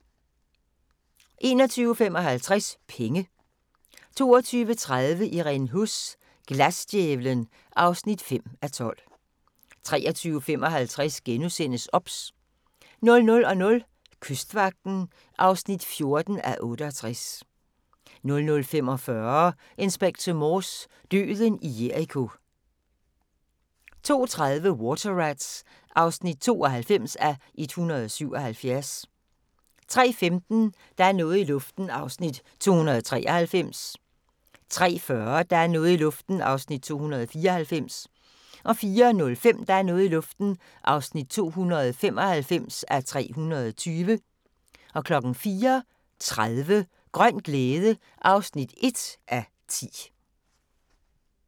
21:55: Penge 22:30: Irene Huss: Glasdjævlen (5:12) 23:55: OBS * 00:00: Kystvagten (14:68) 00:45: Inspector Morse: Døden i Jericho 02:30: Water Rats (92:177) 03:15: Der er noget i luften (293:320) 03:40: Der er noget i luften (294:320) 04:05: Der er noget i luften (295:320) 04:30: Grøn glæde (1:10)